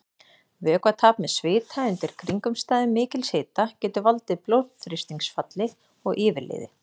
Vökvatap með svita undir kringumstæðum mikils hita getur valdið blóðþrýstingsfalli og yfirliði.